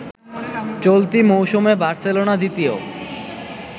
চলতি মৌসুমে বার্সেলোনা দ্বিতীয়